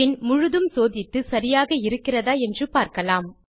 பின் முழுதும் சோதித்து சரியாக இருக்கிறதா என்று பார்க்கலாம்